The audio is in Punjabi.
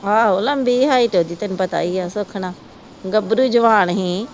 ਆਹੋ ਲੰਬੀ ਹਾਇਟ ਉਹਦੀ ਤੈਨੂੰ ਪਤਾ ਈਆ ਸੁੱਖ ਨਾ ਗੱਭਰੂ ਜਵਾਨ ਹੀ